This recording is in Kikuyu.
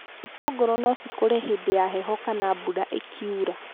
itũngũrũ nocikũre hĩndĩ ya heho kana mbura ĩkiura.